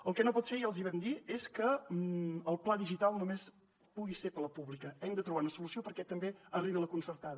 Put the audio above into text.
el que no pot ser ja els hi vam dir és que el pla digital només pugui ser per a la pública hem de trobar una solució perquè també arribi a la concertada